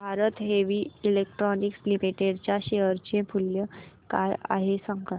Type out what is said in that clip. Bharat Heavy Electricals Limited च्या share चे मूल्य काय आहे सांगा